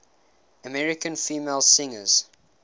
american female singers